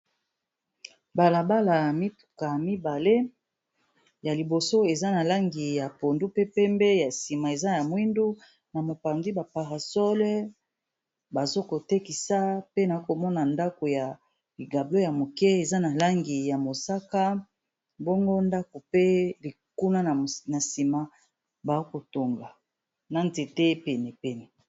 Balabala ya mituka ya mibale ya liboso eza na langi ya pondu pe pembe ya nsima eza ya mwindu na mopandi baparasole bazokotekisa pe na komona ndako ya ligablo ya moke eza na langi ya mosaka mbongo ndako pe kuna na nsima baokotonga na nzete pene pene.